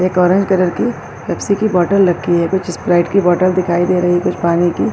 ایک orange colour کی Pepsi کی باٹل رکھی ہے۔ کچھ سپرائٹس کی باٹل دکھائی دے رہی ہیں۔ کچھ پانی کی --